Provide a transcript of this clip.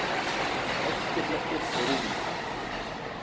Hálkublettir eru víða